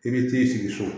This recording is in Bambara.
I bɛ t'i sigi so